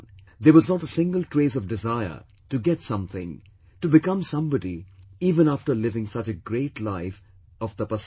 There was not a single trace of desire, to get something, to become somebody even after living such a great life of 'Tapasaya'